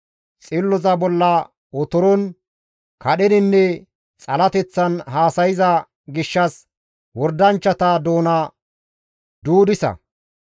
Xilloza bolla otoron, kadheninne xalateththan haasayza gishshas wordanchchata doona duudisa.